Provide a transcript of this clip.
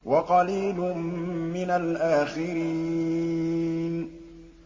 وَقَلِيلٌ مِّنَ الْآخِرِينَ